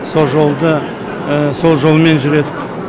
со жолды сол жолмен жүреді